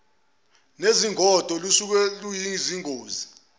nezingodo lusuke luseyingozi